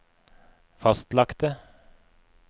fastlagte